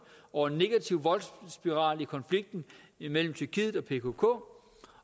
over en negativ voldsspiral i konflikten imellem tyrkiet og pkk